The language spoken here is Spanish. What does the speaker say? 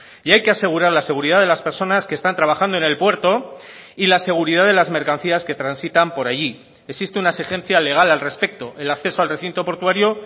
y hay que asegurar la seguridad de las personas que están trabajando en el puerto y la seguridad de las mercancías que transitan por allí existe una exigencia legal al respecto el acceso al recinto portuario